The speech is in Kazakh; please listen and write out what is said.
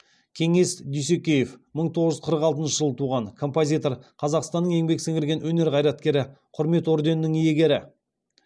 кеңес дүйсекеев мың тоғыз жүз қырық алтыншы жылы туған композитор қазақстанның еңбек сіңірген өнер қайраткері құрмет орденінің иегері